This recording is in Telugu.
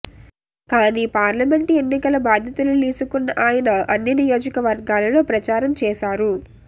కానీ పార్లమెంటు ఎన్నికల బాధ్యతలు లీసుకున్న ఆయన అన్ని నియోజకవర్గాల్లో ప్రచారం చేశారు